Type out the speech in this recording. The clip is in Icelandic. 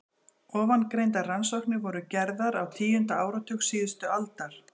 Ofangreindar rannsóknir voru gerðar á tíunda áratug síðustu aldar.